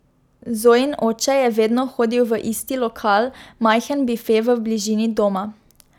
Zojin oče je vedno hodil v isti lokal, majhen bife v bližini doma.